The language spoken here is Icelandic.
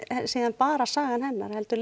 bara sagan hennar heldur